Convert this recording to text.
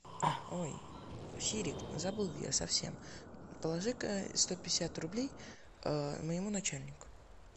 ой сири забыла я совсем положи ка сто пятьдесят рублей моему начальнику